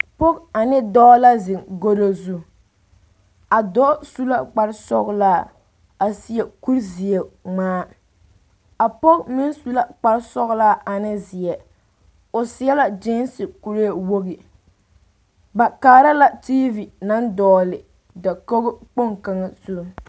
Pɔge ane dɔɔ la zeŋ godo zu a dɔɔ su la kpar sɔgelaa a seɛ kuri zeɛ ŋmaa a pɔge meŋ su la kpar sɔgelaa ane zeɛ o seɛ la kyeese kuree wogi ba kaara la diivi naŋ dɔgele dakoo kpoŋ kaŋa zu